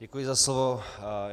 Děkuji za slovo.